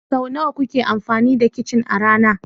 Sau nawa kuke amfani da kicin a rana?